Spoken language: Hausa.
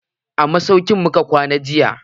A masauki muka kwana jiya.